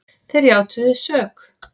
Þeir játuðu sök